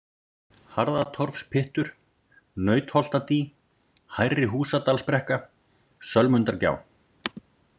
Harðatorfspyttur, Nautholtadý, Hærri-Húsadalsbrekka, Sölmundargjá